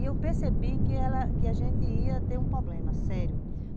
Aí eu percebi que ela, que a gente ia ter um problema, sério.